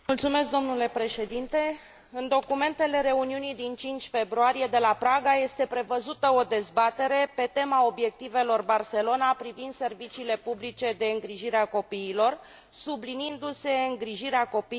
În documentele reuniunii din 5 februarie de la Praga este prevăzută o dezbatere pe tema obiectivelor Barcelona privind serviciile publice de îngrijire a copiilor, subliniindu se îngrijirea copiilor acasă.